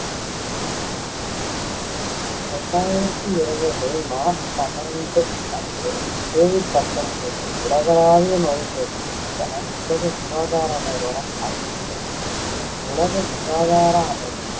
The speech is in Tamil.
ரெண்டாயிரத்தி இருவது மார்ச் பன்னெண்டு அன்று, covid பத்தொன்பது உலகளாவிய நோய்த்தொற்று என உலக சுகாதார நிறுவனம் அறிவித்தது. உலக சுகாதார அமைப்பு